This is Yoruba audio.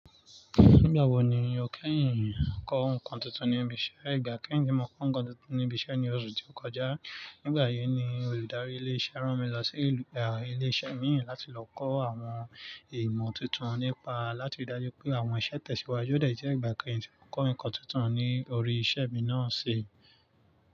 Nígbà wo ni ò kẹ́yìǹ kọ́ ǹkan tuntun ní ibi iṣẹ́? Leyin igba kẹ́yìn ti mọ̀ ko nǹkan tuntun ní ibi iṣẹ́ ní oṣù tí ó kọjá. Nígbà yìí ni olùdarí ilé iṣẹ́ rán mi lọ sí ìlú. Ilé iṣẹ́ mi láti lọ kọ́ àwọn ìmọ̀ tuntun nípa láti ri dáju pé àwọn iṣẹ́ tẹ̀síwájú ọ̀dẹ̀ je igbà kẹ́yìn ti mọ́ ko ǹnkan tuntun ní orí iṣẹ́ mi náà ṣe.